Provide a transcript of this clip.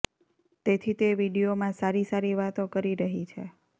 તેથી તે વીડિયોમાં સારી સારી વાતો કરી રહી છે